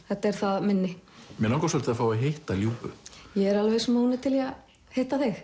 þetta er það minni mig langar svolítið að fá að hitta Ljubu ég er viss um að hún er til í að hitta þig